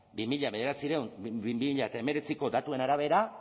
bi mila hemeretziko datuen arabera